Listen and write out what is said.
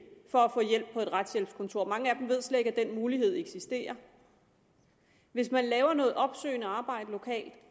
for at få hjælp på et retshjælpskontor mange af dem ved slet ikke at den mulighed eksisterer hvis man laver noget opsøgende arbejde lokalt